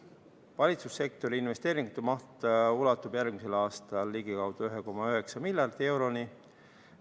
Valitsussektori investeeringute maht ulatub järgmisel aastal ligikaudu 1,9 miljardi euroni.